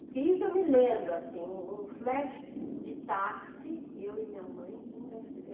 Porque isso eu me lembro, assim, um um flash de táxi, eu e minha mãe indo a